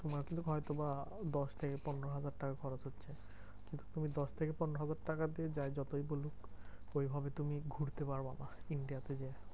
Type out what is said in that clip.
তোমার কিন্তু হয়তো বা দশ থেকে পনেরো হাজার টাকা খরচ হবে। তুমি দশ থেকে পনেরো হাজার টাকা দিয়ে যে যতই বলুক ঐভাবে তুমি ঘুরতে পারবা না India তে।